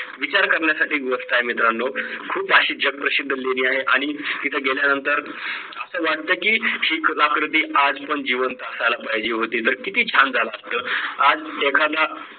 विचार करण्यासारखी गोष्ट ये मित्रांनो खूप अशी जग प्रसिद्ध लेणी आहे आणि इथे गेल्या नंतर असं वाटतं की हि कलाकृती आजपण जिवंत असायला पाहिजे होती तर किती छान झालं असतं आज एखादा